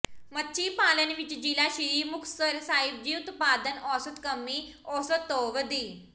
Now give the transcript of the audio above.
ਮੱਛੀ ਪਾਲਣ ਵਿਚ ਜ਼ਿਲ੍ਹਾ ਸ੍ਰੀ ਮੁਕਤਸਰ ਸਾਹਿਬ ਦੀ ਉਤਪਾਦਨ ਔਸਤ ਕੌਮੀ ਔਸਤ ਤੋਂ ਵਧੀ